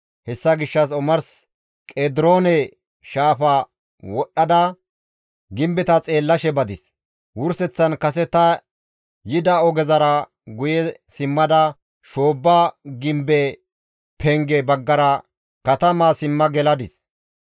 Hessa gishshas omars Qediroone shaafa wodhdhada gimbeta xeellashe badis; wurseththan kase ta yida ogezara guye simmada shoobba gimbe penge baggara katamaa simma geladis.